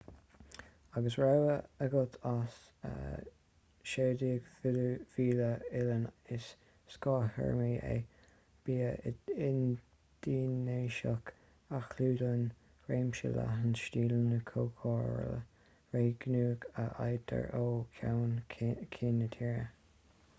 agus rogha agat as 17,000 oileán is scáth-théarma é bia indinéiseach a chlúdaíonn réimse leathan stíleanna cócarála réigiúnacha a fhaightear ó cheann ceann na tíre